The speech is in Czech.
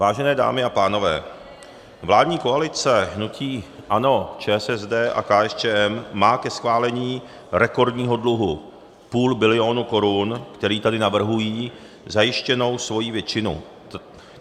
Vážené dámy a pánové, vládní koalice hnutí ANO, ČSSD a KSČM má ke schválení rekordního dluhu půl bilionu korun, který tady navrhují, zajištěnou svoji většinu.